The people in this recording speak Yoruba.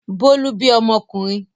Bólú bí ọmọkùnrin.